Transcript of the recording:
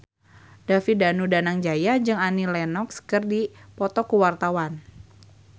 David Danu Danangjaya jeung Annie Lenox keur dipoto ku wartawan